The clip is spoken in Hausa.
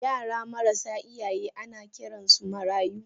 Yara marasa iyaye ana Kiransu marayu.